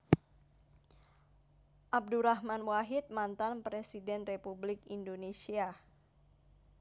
Abdurrahman Wahid Mantan Presiden Republik Indonésia